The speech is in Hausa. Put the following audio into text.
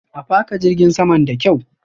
A faka jirgin saman da kyaw.